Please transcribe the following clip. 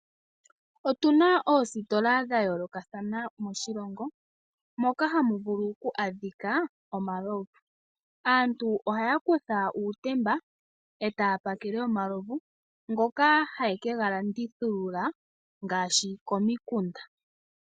Otuna oositola dhayoolokatha moshilongo moka hamudhulu oku adhikaa omalovu. Aantu ahaya kutha uutemba etaa pakele omalovu, ngoka hayekega landithulula ngaashi komikunda.